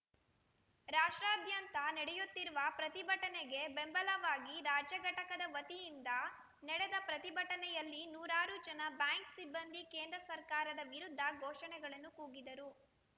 ರಾಷ್ಟ್ರಾದ್ಯಂತ ನಡೆಯುತ್ತಿರುವ ಪ್ರತಿಭಟನೆಗೆ ಬೆಂಬಲವಾಗಿ ರಾಜ್ಯ ಘಟಕದ ವತಿಯಿಂದ ನಡೆದ ಪ್ರತಿಭಟನೆಯಲ್ಲಿ ನೂರಾರು ಜನ ಬ್ಯಾಂಕ್‌ ಸಿಬ್ಬಂದಿ ಕೇಂದ್ರ ಸರ್ಕಾರದ ವಿರುದ್ಧ ಘೋಷಣೆಗಳನ್ನು ಕೂಗಿದರು